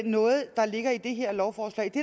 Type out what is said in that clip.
noget der ligger i det her lovforslag det